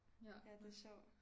Ja det sjovt